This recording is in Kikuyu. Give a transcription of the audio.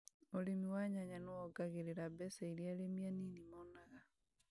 ũrĩmi wa nyanya nĩwongagĩrĩra mbeca irĩa arĩmi anini monaga